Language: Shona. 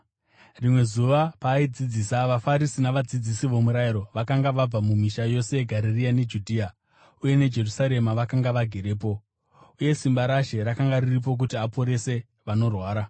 Rimwe zuva paaidzidzisa, vaFarisi navadzidzisi vomurayiro, vakanga vabva mumisha yose yeGarirea neJudhea uye neJerusarema, vakanga vagerepo. Uye simba raShe rakanga riripo kuti aporese vanorwara.